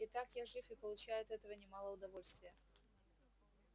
итак я жив и получаю от этого немало удовольствия